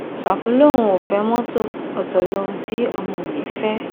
ṣàfù lòun ò fẹ mọtò ọtọ lohun tí ọmọ mi fẹ